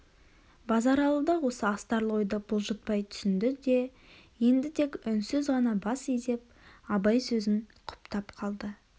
базаралы да осы астарлы ойды бұлжытпай түсінде де енді тек үнсіз ғана бас изеп абай сөзін құптап қалды